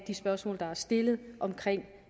de spørgsmål der er stillet om